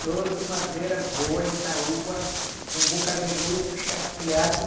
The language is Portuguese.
Tudo madeira boa, Itaúba, com boca de lobo, chapeado.